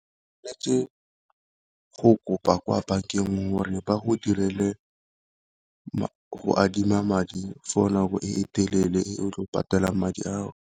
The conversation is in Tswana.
Go kopa kwa bankeng gore ba go direle go adima madi for nako e telele e patelang madi ao.